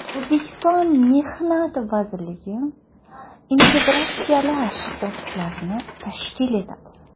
O‘zbekiston Mehnat vazirligi integratsiyalashgan ofislarni tashkil etadi.